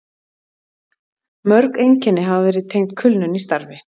Mörg einkenni hafa verið tengd kulnun í starfi.